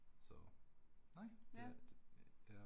Ja